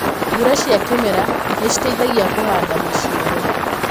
Mbura cia kĩmera nĩciteithagia kũhanda maciaro.